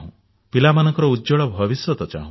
ପିଲାମାନଙ୍କ ଉଜ୍ଜ୍ୱଳ ଭବିଷ୍ୟତ ଚାହୁଁ